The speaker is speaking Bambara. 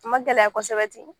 A ma gɛlɛya kosɛbɛ ten